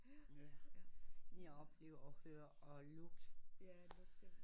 Jeg oplever ofte at lugt